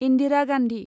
Indira Gandhi